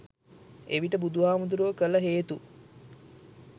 එවිට බුදු හාමුදුරුවෝ කළ හේතු